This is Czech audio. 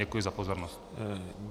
Děkuji za pozornost.